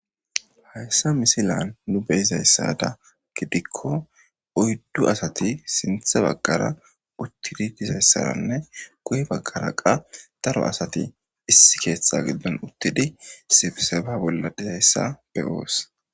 hayssa misilan nu beyizayssada gidikko oyddu asati sinthe baggara uttidi dizayssaranne guye baggara qa daro asati issi keetha giddon uttidi sibseba bolla dizayssa be'oos